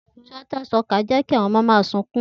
Theether suckers jẹ ki awọn ọmọ ma sunkun